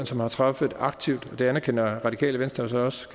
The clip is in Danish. som har truffet et aktivt og det anerkender radikale venstre så også